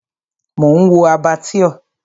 Mò ń wo Abattoir.